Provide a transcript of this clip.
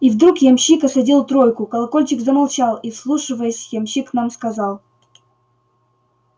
и вдруг ямщик осадил тройку колокольчик замолчал и вслушиваясь ямщик нам сказал